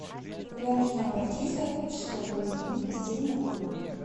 куда нужно обратиться чтобы заменить постельное белье